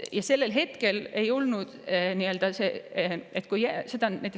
Ja sellel hetkel ei olnud see.